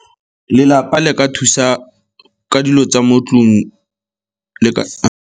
Lelapa le ka thusa ka dilo tsa mo 'tlong le ka.